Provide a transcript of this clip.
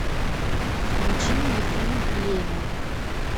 включи мне фильм племя